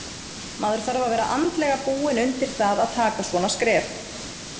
Maður þarf að vera andlega búinn undir það að taka svona skref.